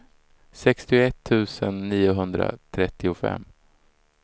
sextioett tusen niohundratrettiofem